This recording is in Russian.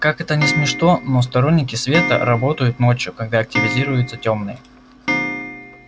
как это ни смешно но сторонники света работают ночью когда активизируются тёмные